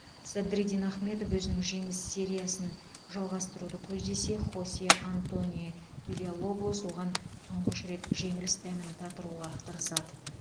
садриддин ахмедов өзінің жеңіс сериясын жалғастыруды көздесе хосе антонио вильялоблос оған тұңғыш рет жеңіліс дәмін татыруға тырысады